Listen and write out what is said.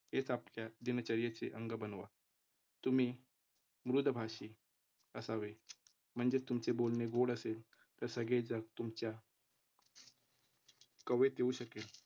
हेच आपल्या दिनचर्येचे अंग बनवा. तुम्ही मृदभाषी असावे म्हणजेच तुमचे बोलणे गोड असेल, तर सगळेजण तुमच्या कवेत येऊ शकेल.